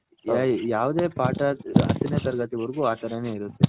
ಈಗ ಯಾವದ ಪಾಠ ಹತನೆ ತರಗತಿ ವರ್ಗು ಆ ತರ ನೆ ಇರುತೆ.